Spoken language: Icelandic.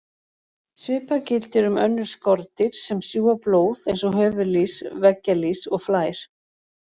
Svipað gildir um önnur skordýr sem sjúga blóð eins og höfuðlýs, veggjalýs og flær.